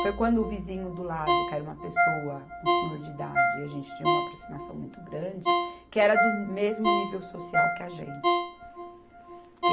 Foi quando o vizinho do lado, que era uma pessoa, um senhor de idade, e a gente tinha uma aproximação muito grande, que era do mesmo nível social que a gente.